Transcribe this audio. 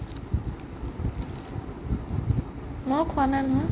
মই খোৱা নাই নহয়